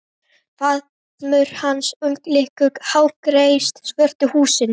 Faðmur hans umlykur lágreist svört húsin.